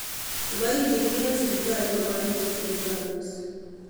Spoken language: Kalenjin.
Kipoitinikak en sipitali komoripe chemyandos